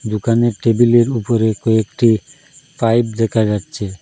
দোকানের টেবিলের উপরে কয়েকটি পাইপ দেখা যাচ্ছে।